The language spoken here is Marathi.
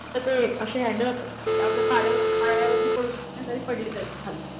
ते असे हॅण्डल असतात की आपल्या पायावरती पडू शकत नाहीत जरी पडली तरी खाली.